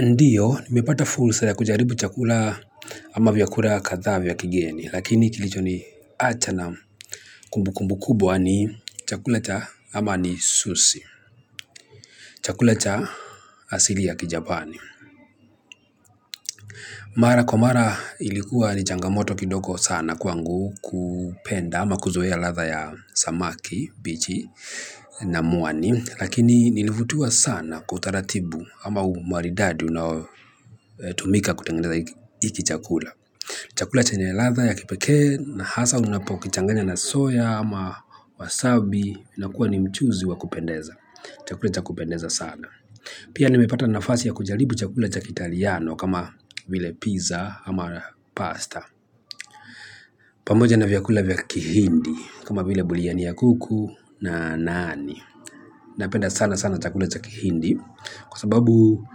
Ndiyo, nimepata fursa ya kujaribu chakula ama vyakula katha vya kigeni, lakini kilicho ni acha na kumbu kumbu kubwa ni chakula cha ama ni susi. Chakula cha asili ya kijapani. Mara kwa mara ilikuwa ni changamoto kidogo sana kwangu kupenda ama kuzoea latha ya samaki bichi na muani, lakini nilivutiwa sana kwa utaratibu ama umaridadi na tumika kutengeneza hiki chakula. Chakula chanye latha ya kipekee na hasa unapokichanganya na soya ama wasabi na kuwa nimchuzi wa kupendeza. Chakula cha kupendeza sana. Pia nimepata nafasi ya kujaribu chakula cha kitaliano kama vile pizza ama pasta. Pamoja na vyakula vya kihindi kama vile buliani ya kuku na nani. Napenda sanasana chakula cha kihindi kwa sababu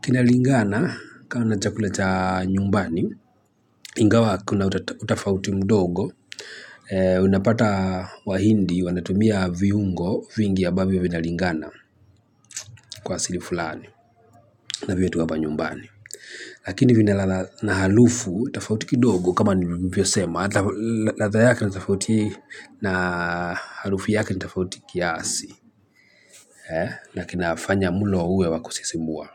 kinalingana kama chakula cha nyumbani. Ingawa kuna utofauti mdogo unapata wahindi wanatumia viungo vingi ambavyo vinalingana kwa asili fulani na vyetu hapa nyumbani. Lakini vina harufu tofauti kidogo, kama nilivyosema; latha yake ni tofauti na harufu yake ni tofauti kiasi. Lakini fanya mulo uwe wakusisimua.